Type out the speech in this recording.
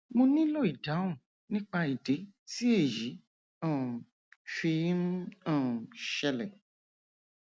mo nílò ìdáhùn nípa ìdí tí èyí um fi ń um ṣẹlẹ